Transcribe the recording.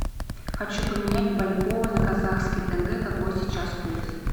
хочу поменять бальбоа на казахский тенге какой сейчас курс